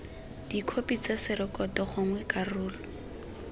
dikhopi tsa rekoto gongwe karolo